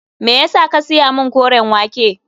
Me ya sa ka saya min koren wake.